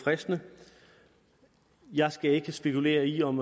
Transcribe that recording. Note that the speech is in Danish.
fristende jeg skal ikke spekulere i om